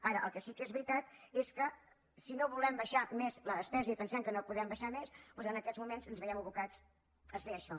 ara el que sí que és veritat és que si no volem abaixar més la despesa i pensem que no la podem abaixar més doncs en aquests moments ens veiem abocats a fer això